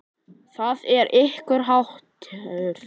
Það er ykkar háttur.